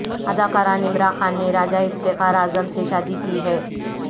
اداکارہ نمرا خان نے راجہ افتخار اعظم سے شادی کی ہے